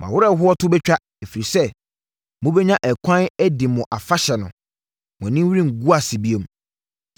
“Mo awerɛhoɔ to bɛtwa ɛfiri sɛ mobɛnya ɛkwan adi mo afahyɛ no; mo anim rengu ase bio.